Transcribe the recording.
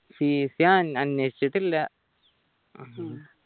fees ഞാൻ അന്വേഷിച്ചിട്ടില്ല